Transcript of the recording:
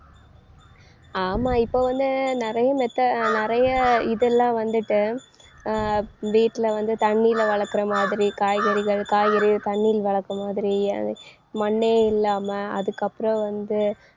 ஆமா இப்ப வந்து நிறைய metho~ நிறைய இதெல்லாம் வந்துட்டு அஹ் வீட்டுல வந்து தண்ணியில வளர்க்கிற மாதிரி காய்கறிகள் காய்கறிகள் தண்ணியில வளர்த்த மாதிரி மண்ணே இல்லாம அதுக்கப்புறம் வந்து